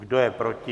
Kdo je proti?